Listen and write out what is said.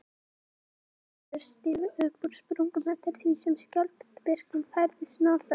Brennisteinsgufur stigu upp úr sprungum eftir því sem skjálftavirknin færðist norðar.